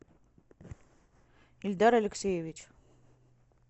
ильдар алексеевич